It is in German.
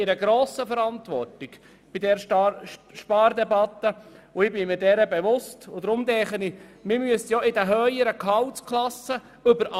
Wir stehen bei der Spardebatte in einer grossen Verantwortung, der ich mir sehr wohl bewusst bin.